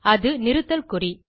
அது நிறுத்தல் குறி